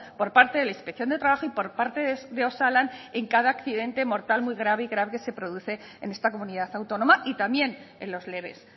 por parte de la inspección de trabajo y por parte de osalan en cada accidente mortal muy grave y grave que se produce en esta comunidad autónoma y también en los leves